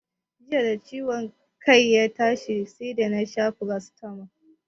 Jiya da ciwon kai ya ta da ni sai da na sha farasitamol